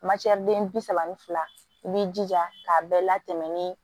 den bi saba ni fila i b'i jija k'a bɛɛ latɛmɛ ni